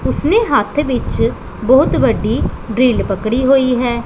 ਓਸਨੇ ਹੱਥ ਵਿਚ ਬੋਹੁਤ ਵੱਡੀ ਡਰਿੱਲ ਪਕੜੀ ਹੋਈ ਹੈ।